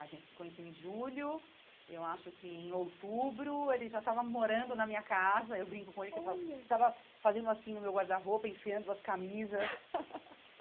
A gente se conheceu em julho, eu acho que em outubro, ele já estava morando na minha casa, eu brinco com ele, que eu falo, você estava fazendo assim no meu guarda-roupa, enfiando as camisas.